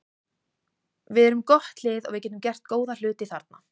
Við erum gott lið og við getum gert góða hluti þarna.